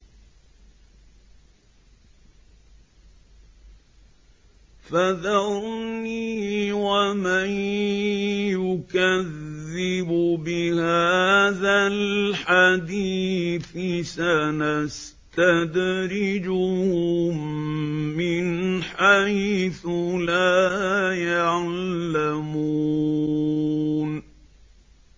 فَذَرْنِي وَمَن يُكَذِّبُ بِهَٰذَا الْحَدِيثِ ۖ سَنَسْتَدْرِجُهُم مِّنْ حَيْثُ لَا يَعْلَمُونَ